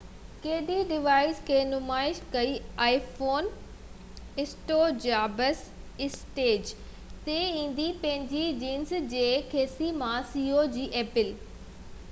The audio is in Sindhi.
apple جي ceo اسٽيو جابس اسٽيج تي ايندي پنهنجي جينس جي کيسي مان iphone ڪڍي ڊوائيس کي نمائش ڪئي